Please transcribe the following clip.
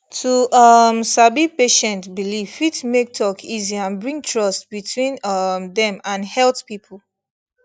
to um sabi patient belief fit make talk easy and bring trust between um dem and health people